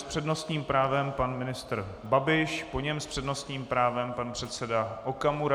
S přednostním právem pan ministr Babiš, po něm s přednostním právem pan předseda Okamura.